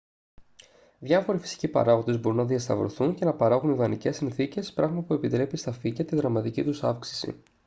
διάφοροι φυσικοί παράγοντες μπορούν να διασταυρωθούν και να παράγουν ιδανικές συνθήκες πράγμα που επιτρέπει στα φύκια τη δραματική τους αύξηση